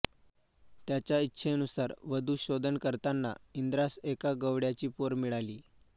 त्याच्या इच्छेनुसार वधू शोधन करताना इंद्रास एका गवळ्याची पोर मिळाली